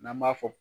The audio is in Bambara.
N'an b'a fɔ